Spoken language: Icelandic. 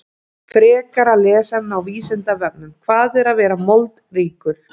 Frekara lesefni á Vísindavefnum: Hvað er að vera moldríkur?